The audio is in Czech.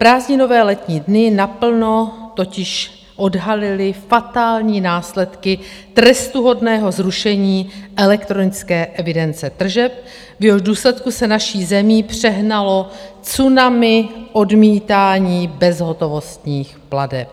Prázdninové letní dny naplno totiž odhalily fatální následky trestuhodného zrušení elektronické evidence tržeb, v jehož důsledku se naší zemí přehnalo tsunami odmítání bezhotovostních plateb.